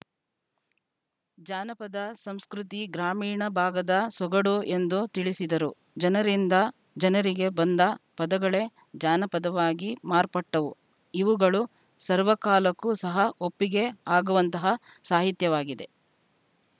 ಜಾನಪದ ಸಂಸ್ಕೃತಿ ಗ್ರಾಮೀಣ ಭಾಗದ ಸೊಗಡು ಎಂದು ತಿಳಿಸಿದರು ಜನರಿಂದ ಜನರಿಗೆ ಬಂದ ಪದಗಳೇ ಜಾನಪದವಾಗಿ ಮಾರ್ಪಟ್ಟವು ಇವುಗಳು ಸರ್ವಕಾಲಕ್ಕೂ ಸಹ ಒಪ್ಪಿಗೆ ಆಗುವಂತಹ ಸಾಹಿತ್ಯವಾಗಿದೆ